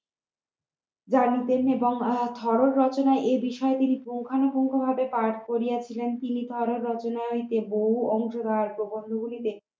জানিতেন আর ভারত রচনা এই বিষয়ে তিনি প্রধানত ভাবে পাঠ করিয়াছিলেন তিনি তিনি ভারত রচনার হইতে বহু অংশ এবং প্রবন্ধ গুলিকে